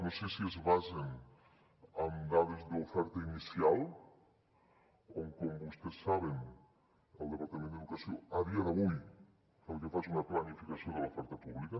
no sé si es basen en dades d’oferta inicial on com vostès saben el departament d’educació a dia d’avui el que fa és una planificació de l’oferta pública